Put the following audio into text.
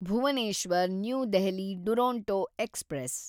Bhuvneshwar new Delhi Duronto express